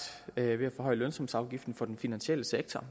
ved at forhøje lønsumsafgiften for den finansielle sektor